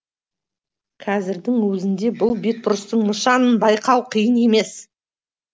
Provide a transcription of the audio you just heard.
қазірдің өзінде бұл бетбұрыстың нышанын байқау қиын емес